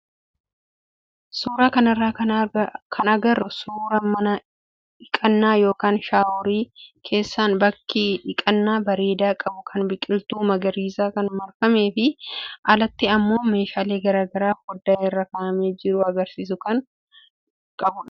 Suuraa kanarraa kan agarru suuraa mana dhiqannaa yookaan shaaworii keessaan bakka dhiqannaa bareedaa qabu kan biqiltuu magariisaan kan marfamee fi alatti immoo meeshaalee garaagaraa foddaa irra kaa'amee jiru agarsiisu kan kan qabudha.